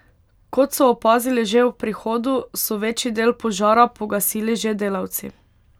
Kot so opazili že ob prihodu, so večji del požara pogasili že delavci.